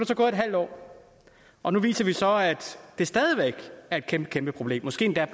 så gået et halvt når og nu viser det sig så at det stadig væk er et kæmpekæmpeproblem måske er